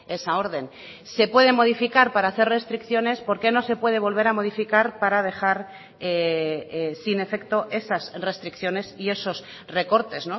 esa orden se puede modificar para hacer restricciones por qué no se puede volver a modificar para dejar sin efecto esas restricciones y esos recortes